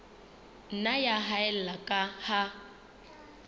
nna ya haella ka ha